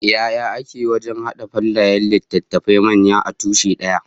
Yaya ake yi wajen hada fallayen littattafai manya a tushe daya?